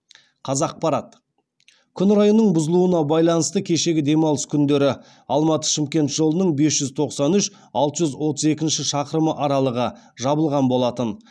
қазақпарат күн райының бұзылуына байланысты кешегі демалыс күндері алматы шымкент жолының бес жүз тоқсан үш алты жүз отыз екінші шақырымы аралығы жабылған болатын